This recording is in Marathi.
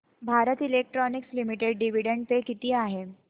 Bharat electronics limited dividend pay किती आहे